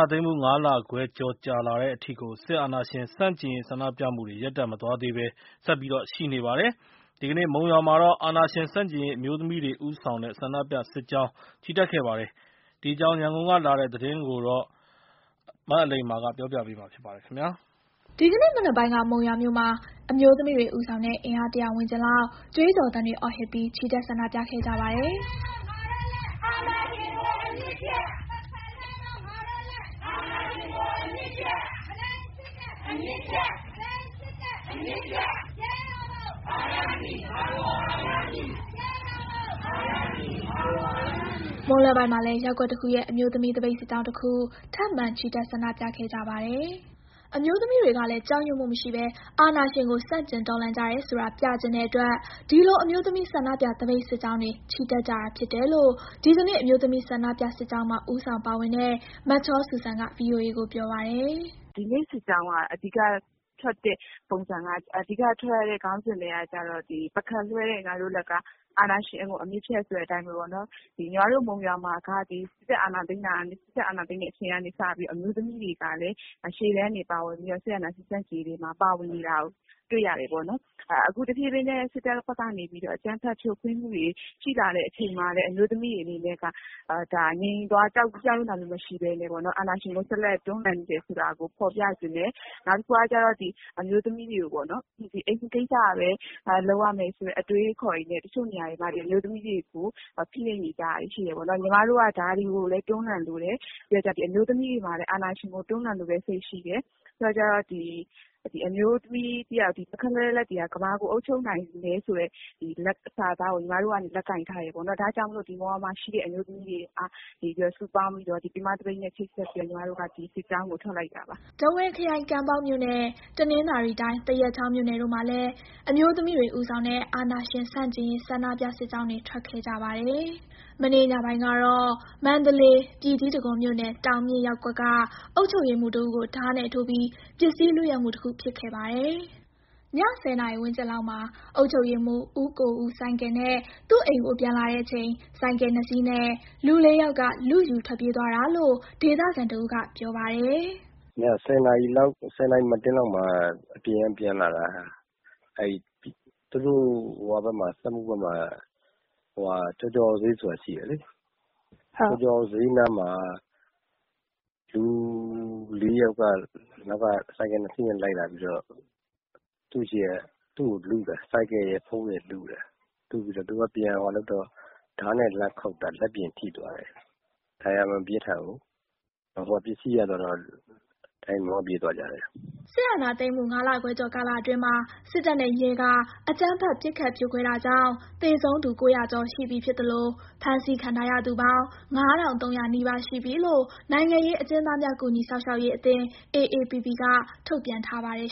ာသိမ်းမှု ၅ လခွဲကျော်ကြာလာတဲ့အထိ စစ်အာဏာရှင် ဆန့်ကျင်ရေး ဆန္ဒပြမှုတွေ ရပ်တန့်မသွားသေးဘဲ ဆက်ရှိနေပါတယ်။ ဒီကနေ့ မုံရွာမှာ စစ်အာဏာရှင်ဆန့်ကျင်ရေး အမျိုးသမီးတွေဦးဆောင်တဲ့ ဆန္ဒပြစစ်ကြောင်း ချီတက်ခဲ့ကြပါတယ်။ ဒီအကြောင်း ရန်ကုန်ကလာတဲ့ သတင်းကို အလိမ္မာက ပြောပြပါမယ်။ ဒီကနေ့မနက်ပိုင်းက မုံရွာမြို့မှာ အမျိုးသမီးတွေ ဦးဆောင်တဲ့ အင်အား ၁၀၀ ဝန်းကျင်လောက် ကြွေးကြော်သံတွေ အော်ဟစ်ပြီး ချီတက် ဆန္ဒပြခဲ့ကြပါတယ်။ မွန်းလွဲပိုင်းမှာလည်း ရပ်ကွက်တခုရဲ့ အမျိုးသမီး သပိတ်စစ်ကြောင်းတခု ထပ်မံချီတက် ဆန္ဒပြခဲ့ကြပါတယ်။ အမျိုးသမီးတွေကလည်း ကြောက်ရွံ့မှုမရှိဘဲ အာဏာရှင်ကို ဆန့်ကျင်တော်လှန်ကြတယ်ဆိုတာ ပြချင်တဲ့အတွက် ဒီလို အမျိုးသမီး ဆန္ဒပြစစ်ကြောင်းတွေ ချီတက်ကြတာဖြစ်တယ်လို့ ဒီနေ့ အမျိုးသမီး ဆန္ဒပြစစ်ကြောင်းမှာ ဦးဆောင်ပါဝင်တဲ့ မချောစုစံက ဗွီအိုအေ ကိုပြောပါတယ်။ “ဒီနေ့ စစ်ကြောင်းက အဓိကထွက်ရတဲ့ ခေါင်းစဉ်က ပုခက်လွှဲတဲ့ ငါတို့လက်က အာဏာရှင်ကို အမြစ်ဖြတ်ဆိုတဲ့ အတိုင်းပဲပေါ့နော်။ ကျမတို့ မုံရွာမှာက စစ်အာဏာသိမ်းတဲ့အချိန်ကနေ စပြီးတော့ပေါ့နော်။ အမျိုးသမီးတွေကလည်း စစ်အာဏာရှင် ဆန့်ကျင်ရေးအတွက် ရှေ့တန်းကနေ ပါဝင်နေတာကို တွေ့ရတယ်ပေါ့နော်။ အခု တဖြည်းဖြည်းနဲ့ စစ်တပ်ဘက်ကနေပြီးတော့ အကြမ်းဖက် ဖြိုခွဲမှုတွေ ရှိလာတဲ့အချိန်မှာလည်း အမျိုးသမီးတွေဘက်က ငြိမ်သွား ကြောက်ရွံ့တာမျိုးမရှိဘဲနဲ့ အာဏာရှင်ကို ဆက်လက်တွန်းလှန်နေမယ်ဆိုတာကို ဖော်ပြချင်တယ်။ နောက်တခုက အိမ်မှုကိစ္စပဲ လုပ်ရမယ်ဆိုတဲ့ အတွေးအခေါ်တွေနဲ့ အမျိုးသမီးတွေကို ဖိနှိပ်နေကြတာတွေ ရှိတယ်ပေါ့နော်။ ကျမတို့က ဒါတွေကိုလည်း တွန်းလှန်လိုတယ်။ ပြီးတော့ အမျိုးသမီးတွေမှာလည်း အာဏာရှင်ကို တွန်းလှန်လိုတဲ့စိတ်ရှိတယ်။ ပြီးတော့ ပုခက်လွှဲတဲ့ လက်တွေဟာ ကမ္ဘာကို အုပ်ချုပ်နိုင်တယ်ဆိုတဲ့ စာသားကို ကျမတို့က လက်ကိုင်ထားတယ်ပေ့ါနှော်။ ဒါကြောင့်မို့ မုံရွာမှ ရှိတဲ့ အမျိုးသမီးတွေက စုပေါင်းပြီးတော့ ပင်မသပိတ်နဲ့ ချိတ်ဆက်ပြီး ဒီစစ်ကြောင်းကို ထွက်လိုက်တာပါ။” ထားဝယ်ခရိုင်၊ ကံပေါက်မြို့နဲ့ တနင်္သာရီတိုင်း၊ သရက်ချောင်းမြိုနယ်တို့မှာလည်း အမျိုးသမီးတွေ ဦးဆောင်တဲ့ အာဏာရှင် ဆန့်ကျင်ရေး ဆန္ဒပြစစ်ကြောင်းတွေ ထွက်ခဲ့ကြပါတယ်။ မနေ့ညပိုင်းကတော့ မန္တလေး၊ ပြည်ကြီးတံခွန်မြို့နယ်၊ တောင်မြင့်ရပ်ကွက်က အုပ်ချုပ်ရေးမှူးတဦးကို ဓားနဲ့ ထိုးပြီး ပစ္စည်းလုယက်မှုတခု ဖြစ်ခဲ့ပါတယ်။ ည ၁၀ နာရီ ဝန်းကျင်လောက်မှာ အုပ်ချုပ်ရေးမှူး ဦးကိုဦး ဆိုင်ကယ်နဲ့ သူ့အိမ်ကို ပြန်လာတဲ့အချိန် ဆိုင်ကယ်နှစ်စီးနဲ့ လူ လေးယောက်က လုယူထွက်ပြေးသွားတာလို့ ဒေသခံတဦးက ပြောပါတယ်။ “ည ၁၀ နာရီမတ်တင်းလောက်မှာ အပြင်ကပြန်လာတာ အဲ့ဒီမှာ သူတို့စက်မှုဘက်မှာ ကျော်ကျော်အောင်ဈေးဆိုတာရှိတယ်လေ။ အဲ့ဒီနားမှာ လူ ၄ ယောက်က ဆိုင်ကယ် ၂ စီးနဲ့လိုက်လာပြီးတော့ သူ့ဆီက ဆိုင်ကယ်ရယ် ဖုန်းရယ် လုတာ။ သူက ပြန်လုပ်တော့ ဓားနဲ့ လှမ်းခုတ်တာ လက်ပြင်ထိသွားတယ်။ ဒဏ်ရာမပြင်းထန်ဘူး၊ ပစ္စည်းရတော့ မောင်းပြေးသွားကြတယ်။” စစ်အာဏာသိမ်းမှု ၅ လခွဲကျော်ကာလအတွင်းမှာ စစ်တပ်နဲ့ရဲက အကြမ်းဖက် ပစ်ခတ် ဖြိုခွဲတာကြောင့် သေဆုံးသူက ၉၀၀ ကျော်ပြီဖြစ်သလို ဖမ်းဆီးခံထားရသူပေါင်း ၅,၃၀၀ နီးပါးရှိပြီလို့ နိုင်ငံရေးအကျဉ်းသားများ ကူညီစောင့်ရှောက်ရေးအသင်း AAPP က ထုတ်ပြန်ထားပါတယ်